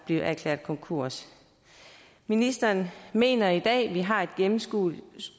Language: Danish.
erklæret konkurs ministeren mener i dag at vi har et gennemskueligt